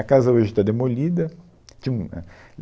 A casa hoje está demolida. Tinha um éh